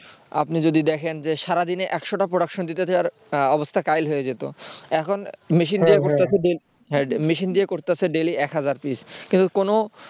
আপনি যদি দেখেন যে সারা দিনে একশো টা production দিতে যাওয়ার অবস্থা কাহিল হয়ে যেত এখন machine machine দিয়ে করতেসে daily এক হাজার পিস তো কোনো কিন্তু কোনো